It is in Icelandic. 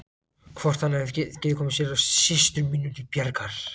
Hvort hann hefði getað komið mér og systrum mínum til bjargar.